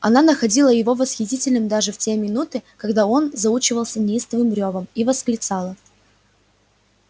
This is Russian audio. она находила его восхитительным даже в те минуты когда он заучивался неистовым рёвом и восклицала